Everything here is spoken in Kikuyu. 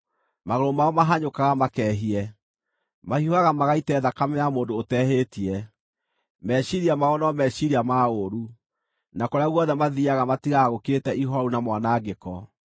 Magũrũ mao mahanyũkaga makehie; mahiũhaga magaite thakame ya mũndũ ũtehĩtie. Meciiria mao no meciiria ma ũũru; na kũrĩa guothe mathiiaga matigaga gũkirĩte ihooru na mwanangĩko.